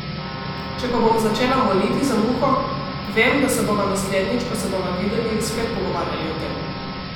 Če pa bom začela moliti za Muho, vem, da se bova naslednjič, ko se bova videli, spet pogovarjali o tem.